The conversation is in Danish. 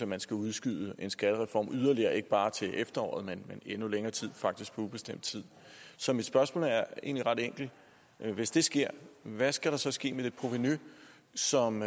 man skal udskyde en skattereform yderligere ikke bare til efteråret men endnu længere tid faktisk på ubestemt tid så mit spørgsmål er egentlig ret enkelt hvis det sker hvad skal der så ske med det provenu som